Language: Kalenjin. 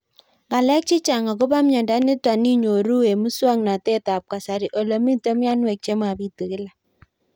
Ng'alek chechang' akopo miondo nitok inyoru eng' muswog'natet ab kasari ole mito mianwek che mapitu kila